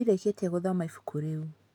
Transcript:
Ndirĩkĩtie gũthoma ibuku rĩu.